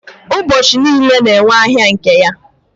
ụbọchi niile na-enwe ahịa nke ya